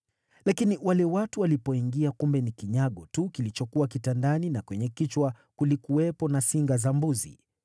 Lakini wale watu walipoingia, kumbe ni kinyago tu kilichokuwa kitandani na kwenye kichwa kulikuwepo na singa za mbuzi.